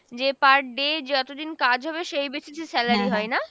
যে per day যতদিন কাজ হবে সেই basis এ salary হয় না?